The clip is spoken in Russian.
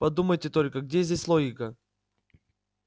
подумайте только где здесь логика